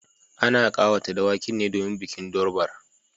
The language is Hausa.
Ana kawata dawakin ne domin bikin durbar